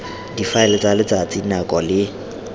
difaele tsa letsatsi nako le